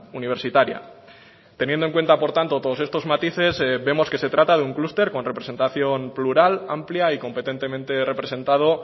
universitaria teniendo en cuenta por tanto todos estos matices vemos que se trata de un clúster con representación plural amplia y competentemente representado